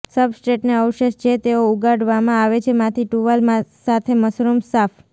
સબસ્ટ્રેટને અવશેષ જે તેઓ ઉગાડવામાં આવે છે માંથી ટુવાલ સાથે મશરૂમ્સ સાફ